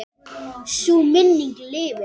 Sú minning lifir.